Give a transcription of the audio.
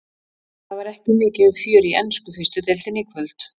Það var ekki mikið um fjör í ensku fyrstu deildinni í kvöld.